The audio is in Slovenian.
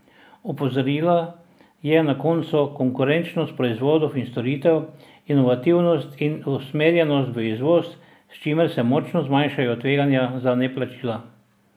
Opozorila je na konkurenčnost proizvodov in storitev, inovativnost in usmerjenost v izvoz, s čimer se močno zmanjšujejo tveganja za neplačila.